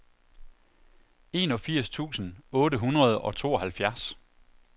enogfirs tusind otte hundrede og tooghalvfjerds